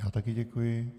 Já také děkuji.